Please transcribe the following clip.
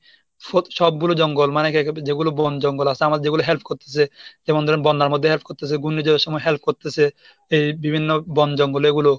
সবগুলো জঙ্গল মানে যেগুলো বন জঙ্গল আছে আমার যেগুলো help করতেছে, যেমন ধরেন বন্যার মধ্যে help করতেছে. ঘূর্ণিঝড়ের সময় help করতেসে এই বিভিন্ন বন জঙ্গল এগুলো